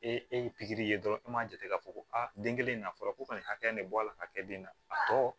E e e ye pikiri ye dɔrɔn an b'a jate k'a fɔ ko a den kelen na fɔlɔ ko ka nin hakɛ in ne bɔ a la ka kɛ den na a tɔ